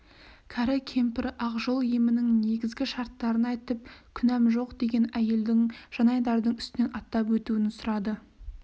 кәрі кемпір ақ жол емінің негізгі шарттарын айтып күнәм жоқ деген әйелдің жанайдардың үстінен аттап өтуін сұрады